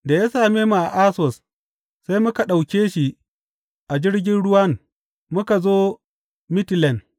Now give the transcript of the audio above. Da ya same mu a Assos, sai muka ɗauke shi a jirgin ruwan muka zo Mitilen.